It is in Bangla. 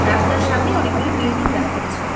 রাস্তার সামনে অনেকগুলি বিল্ডিং দেখা যাচ্ছে।